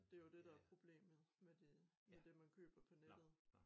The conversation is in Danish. Det jo dét der problemet med det med det man køber på nettet